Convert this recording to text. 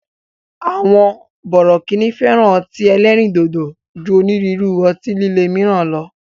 Àwọn bọ̀rọ̀kíni fẹ́ràn ọtí ẹlẹ́ríndòdò ju onírúurú ọtí lilé míràn lọ